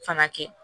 Fana kɛ